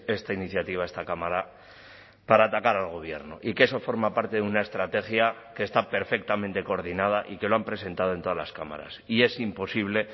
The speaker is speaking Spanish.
esta iniciativa a esta cámara para atacar al gobierno y que eso forma parte de una estrategia que está perfectamente coordinada y que lo han presentado en todas las cámaras y es imposible